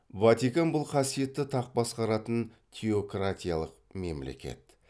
ватикан бұл қасиетті тақ басқаратын теократиялық мемлекет